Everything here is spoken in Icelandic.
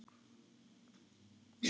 Ljósið það leiðir í bæinn.